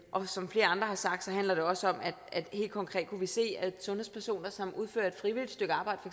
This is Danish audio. og som flere andre har sagt handler det også om at vi helt konkret kunne se at sundhedspersoner som udfører et frivilligt stykke arbejde